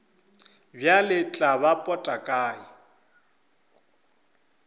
bjale tla ba pota kae